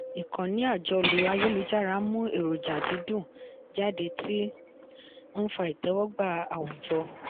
ìkànnì àjọlò ayélujára ń mú èròjà dídùn jáde tí ń fa ìtẹ́wọ́gbà àwùjọ.